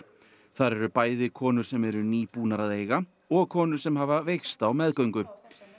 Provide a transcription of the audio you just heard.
þar eru bæði konur sem eru nýbúnar að eiga og konur sem hafa veikst á meðgöngu